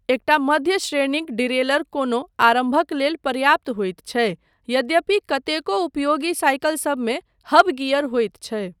एकटा मध्य श्रेणीक डीरेलर कोनो आरम्भक लेल पर्याप्त होइत छै, यद्यपि कतेको उपयोगी साइकिलसबमे हब गियर होइत छै।